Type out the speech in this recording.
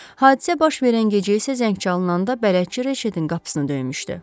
Hadisə baş verən gecə isə zəng çalınanda bələdçi Reşetin qapısını döymüşdü.